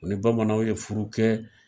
U ni bamananw ye furu kɛ.